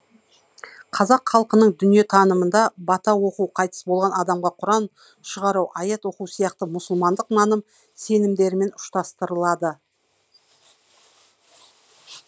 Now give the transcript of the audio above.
қазақ халқының дүниетанымында бата оқу қайтыс болған адамға құран шығару аят оқу сияқты мұсылмандық наным сенімдермен ұштастырылады